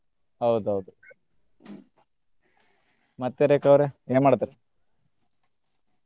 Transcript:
ಹೌದ ಹೌದ ಮತ್ತೆ ರೇಖಾ ಅವ್ರೆ? ಏನ್ ಮಾಡಾತೇರಿ?